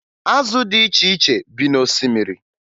Azụ dị iche iche bi n'osimiri